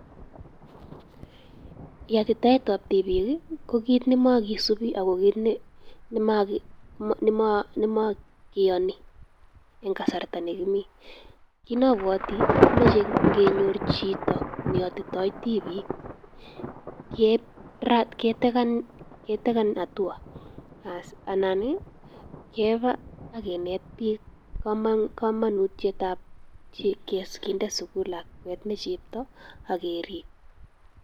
Yatitetab tibiik, ko kit ne makisubi ago kit ne nemo keyoni eng kasarta nikimi. Kit nabwoti, komeche ngenyor chito neyotitoi tibiik, kerat, ketekan ketekan hatua. As anan, keba ak kinet biik kama, kamanutietab kinde sukul lakwet ne chepto ak gerib.